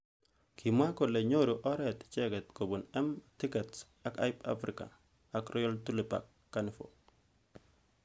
Kimw kole nyoru oret icheket kobun M tickects ak Hype africa ak Royal tulipak Carnivore.